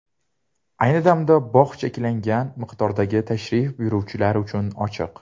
Ayni damda bog‘ cheklangan miqdordagi tashrif buyuruvchilar uchun ochiq.